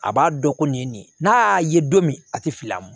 A b'a dɔn ko nin ye nin ye n'a y'a ye don min a tɛ fili a ma